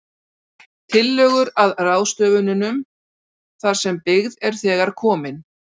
Tillögur að ráðstöfunum þar sem byggð er þegar komin: